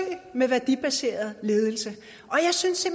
med værdibaseret ledelse og jeg synes